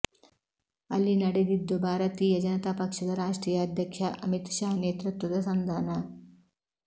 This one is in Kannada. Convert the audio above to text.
ಅಲ್ಲಿ ನಡೆದಿದ್ದು ಭಾರತೀಯ ಜನತಾ ಪಕ್ಷದ ರಾಷ್ಟ್ರೀಯ ಅಧ್ಯಕ್ಷ ಅಮಿತ್ ಶಾ ನೇತೃತ್ವದ ಸಂಧಾನ